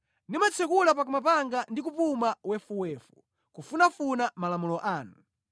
Ndimatsekula pakamwa panga ndi kupuma wefuwefu, kufunafuna malamulo anu.